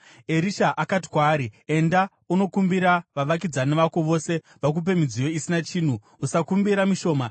Erisha akati kwaari, “Enda unokumbira vavakidzani vako vose vakupe midziyo isina chinhu. Usakumbira mishoma.